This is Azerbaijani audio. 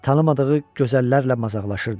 Tanımadığı gözəllərlə mazaxlaşırdı.